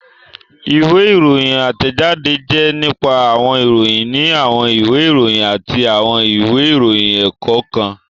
Ìwé ìròyìn átẹ̀jáde jẹ́ nípa àwọn ìròyìn ní àwọn ìwé ìròyìn àti àwọn ìwé ìròyìn ẹ̀kọ́ kan